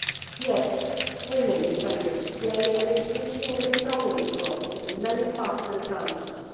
Yet women defenders play an increasingly prominent role in many partner countries.